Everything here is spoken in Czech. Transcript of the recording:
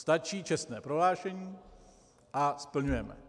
Stačí čestné prohlášení, a splňujeme.